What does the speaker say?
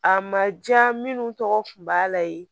A ma diya minnu tɔgɔ kun b'a la ye